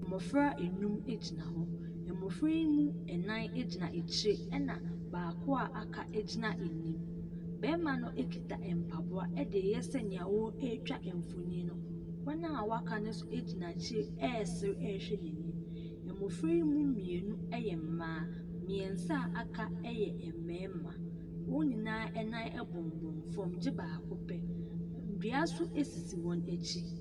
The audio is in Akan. Mmɔfra nnum gyina hɔ. Mmɔfra yi mu nnan gyina akyire ɛnna baako a waka gyina anim. Barima no kita mpaboa de reyɛ sɛdeɛ ɔretwa mfonin no. Wɔn a wɔaka no nso gyina akyire resere rehwɛ n'anim, na mmɔfra yi mu mmienu yɛ mmaa. Mmeɛnsa a wɔaka yɛ mmarima. Wɔn nyinaa nan bobom fam gye baako pɛ. Dua nso sisi wɔn akyi.